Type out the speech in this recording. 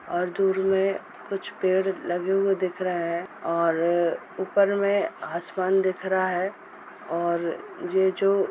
और दूर में कुछ पेड़ लगे हुए दिख रहे हैं और ऊपर में आसमान दिख रहा हैं और ये जो --